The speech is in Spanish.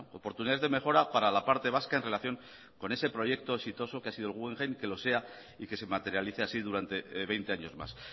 oportunidades de mejora para la parte vasca en relación con ese proyecto exitoso que ha sido el guggenheim y que lo sea y que se materialice así durante veinte años más